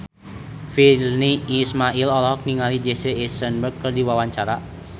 Virnie Ismail olohok ningali Jesse Eisenberg keur diwawancara